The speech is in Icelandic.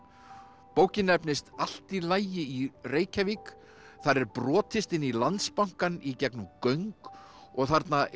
bókin nefnist allt í lagi í Reykjavík þar er brotist inn í Landsbankann í gegnum göng og þarna er